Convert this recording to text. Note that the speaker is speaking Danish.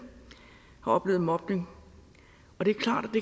har oplevet mobning